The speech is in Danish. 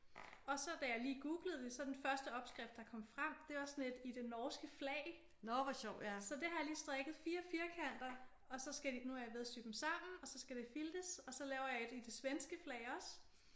Og så da jeg lige googlede det så den første opskrift der kom frem det var sådan et i det norske flag så det har jeg lige strikket 4 firkanter og så skal de nu er jeg ved at sy dem sammen og så skal det filtes og så laver jeg et i det svenske flag også